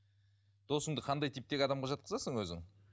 досыңды қандай типтегі адамға жатқызасың өзің